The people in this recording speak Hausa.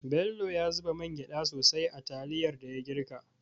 Bello ya zuba mangyda sosai a taliyar da ya girka.